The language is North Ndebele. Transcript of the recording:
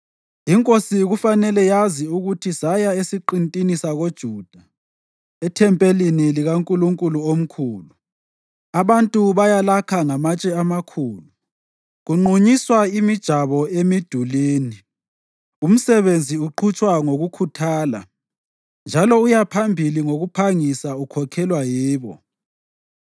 Inkosi kufanele yazi ukuthi saya esiqintini sakoJuda, ethempelini likaNkulunkulu omkhulu. Abantu bayalakha ngamatshe amakhulu, kunqunyiswa imijabo emidulini. Umsebenzi uqhutshwa ngokukhuthala, njalo uyaphambili ngokuphangisa ukhokhelwa yibo.